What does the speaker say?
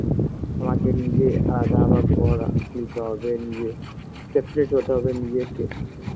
আমাকে নিজে আলাদা আবার ঘর নিতে হবে নিজে separate হতে হবে নিজেকে